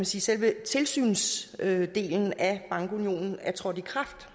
selve tilsynsdelen af bankunionen er trådt i kraft